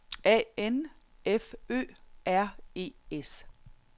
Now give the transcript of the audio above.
A N F Ø R E S